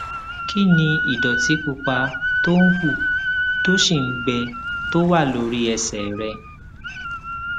kí ni ìdòtí pupa tó ń hù tó sì ń gbẹ tó wà lórí ẹsè rẹ